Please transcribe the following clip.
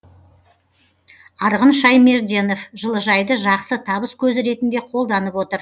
арғын шаймерденов жылыжайды жақсы табыс көзі ретінде қолданып отыр